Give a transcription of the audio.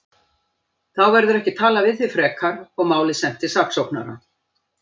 Þá verður ekki talað við þig frekar og málið sent til saksóknara.